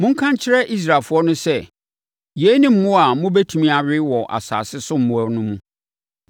“Monka nkyerɛ Israelfoɔ no sɛ, ‘yei ne mmoa a mobɛtumi awe wɔ asase so mmoa no mu.